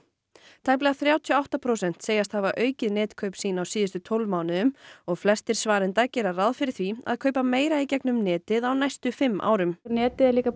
tæplega þrjátíu og átta prósent segjast hafa aukið netkaup sín á síðustu tólf mánuðum og flestir svarenda gera ráð fyrir því að kaupa meira í gegnum netið á næstu fimm árum netið er líka bara